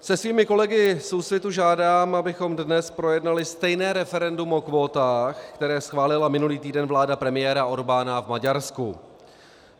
Se svými kolegy z Úsvitu žádám, abychom dnes projednali stejné referendum o kvótách, které schválila minulý týden vláda premiéra Orbána v Maďarsku.